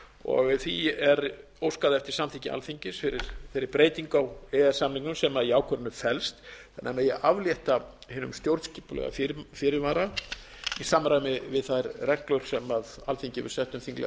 því er óskað eftir samþykki alþingis fyrir þeirri breytingu á e e s samningnum sem í ákvörðuninni felst þannig að megi aflétta hinum stjórnskipulega fyrirvara í samræmi við þær reglur sem alþingi hefur sett um þinglega